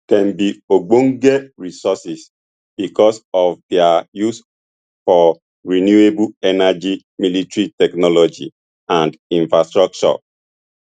dem be ogbonge resources because of dia use for renewable energy military technology and infrastructure